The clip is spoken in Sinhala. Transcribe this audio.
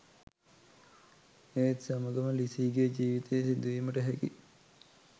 ඒත් සමගම ලිසීගේ ජීවිතයේ සිදුවීමට හැකි